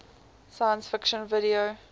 science fiction video